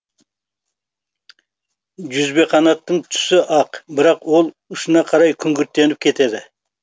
жүзбеқанаттың түсі ақ бірақ ол ұшына қарай күңгірттеніп кетеді